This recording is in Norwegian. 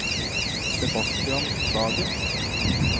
Sebastian Sagen